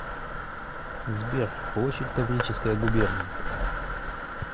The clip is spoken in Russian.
сбер площадь таврическая губерния